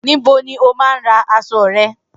Nibo ni o maa n ra aṣọ rẹ?